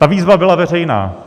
Ta výzva byla veřejná.